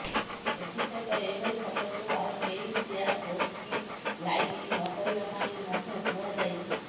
ଏଥି ସହିତ ଏଭଳି ଫଟୋକୁ ଆଉ କେହି ସେୟାର ପୋଷ୍ଟ କି ଲାଇକ୍ ନକରିବା ପାଇଁ ମଧ୍ୟ କୁହାଯାଇଛି